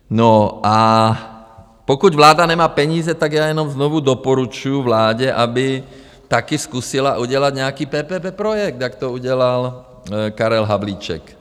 No a pokud vláda nemá peníze, tak já jenom znovu doporučuju vládě, aby taky zkusila udělat nějaký PPP projekt, jak to udělal Karel Havlíček.